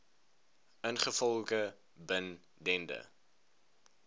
ingevolge bin dende